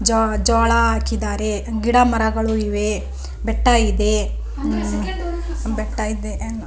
ಜ ಜೋಳ ಹಾಕಿದ್ದಾರೆ ಗಿಡ ಮರಗಳು ಇವೆ ಬೆಟ್ಟ ಇದೆ ಬೆಟ್ಟ ಇದೆ.